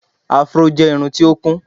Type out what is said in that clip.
Afro jẹ́ irun tí ó kún.